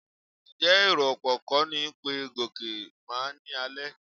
Ǹjẹ́ èrò ọ̀pọ̀ kọ́ ni pé Gòkè máa ní àlè?